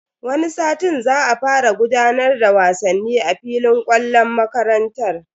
Wani satin za a fara gudanar da wasanni a filin kwallon makarantar.